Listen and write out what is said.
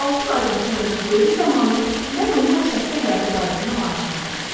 Altı aydan sonrakı görüş zamanı mən onunla şəxsi həyatı barəsində maraqlandım.